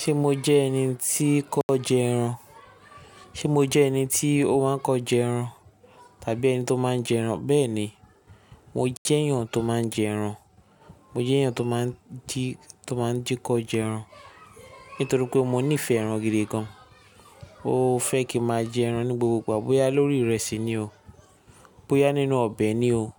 Ṣé mo jẹ́ ẹni tí kọ jẹ ẹran? Ṣé mo jẹ́ ẹni tí o máa ń kọ jẹ ẹran? Tàbí ẹni tó máa ń jẹ ẹran? Bẹ́ẹ̀ni, mo jẹ́ èèyàn tó máa ń jẹ ẹran. Mo jẹ́ èèyàn tó máa ń jí, tó máa ń jíkọ jẹ ẹran. Nítorí pé mo nífẹ̀ẹ́ ẹran gidi gan. Mo fẹ́ kí máa jẹ ẹran ní gbogbogbà. Bóyá lórí ìrẹsì ni o, bóyá nínú ọbẹ̀ ni o,